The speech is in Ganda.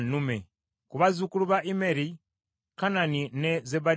Ku bazzukulu ba Immeri: Kanani ne Zebadiya.